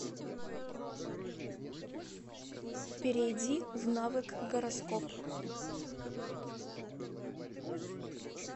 перейди в навык гороскоп